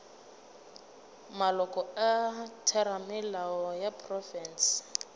maloko a theramelao ya profense